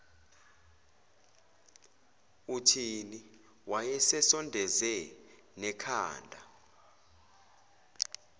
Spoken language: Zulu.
uthini wayesesondeze nekhanda